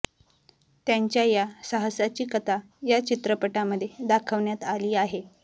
त्यांच्या या साहसाची कथा या चित्रपटामध्ये दाखवण्यात आली आहे